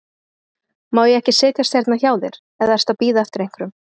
Má ég ekki setjast hérna hjá þér, eða ertu að bíða eftir einhverjum?